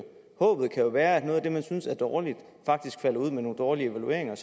håbet kan jo være at noget af det man synes er dårligt faktisk falder ud med nogle dårlige evalueringer